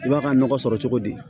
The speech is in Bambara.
I b'a ka nɔgɔ sɔrɔ cogo di